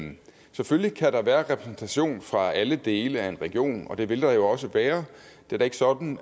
selvfølgelig kan der være repræsentation fra alle dele af en region og det vil der jo også være det er da ikke sådan